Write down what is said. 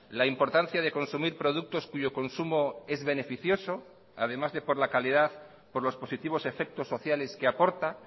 la importancia de consumir productos cuyo consumo es beneficioso además de por la calidad por los positivos efectos sociales que aporta